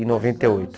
Em noventa e oito